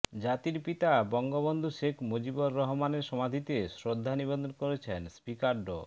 জাতির পিতা বঙ্গবন্ধু শেখ মুজিবুর রহমানের সমাধিতে শ্রদ্ধা নিবেদন করেছেন স্পিকার ড